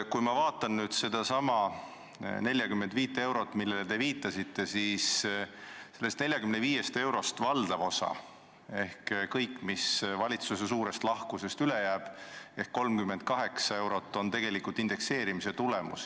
Kui ma vaatan sedasama 45 eurot, millele te viitasite, siis sellest valdav osa ehk kõik, mis valitsuse suurest lahkusest üle jääb, ehk 38 eurot on tegelikult indekseerimise tulemus.